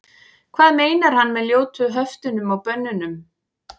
hvað meinar hann með ljótu höftunum og bönnunum